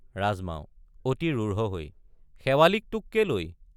ৰাজমাও— অতি ৰূঢ় হৈ শেৱালিক তোক কেলৈ?